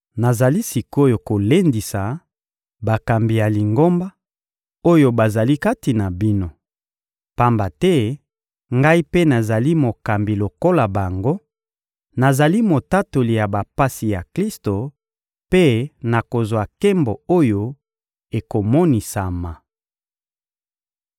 Nazali sik’oyo kolendisa bakambi ya Lingomba, oyo bazali kati na bino, pamba te ngai mpe nazali mokambi lokola bango, nazali motatoli ya bapasi ya Klisto mpe nakozwa nkembo oyo ekomonisama.